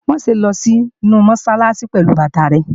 Má ṣe lọ sínu Mọ́sálásí pẹ̀lú bàtà rẹ!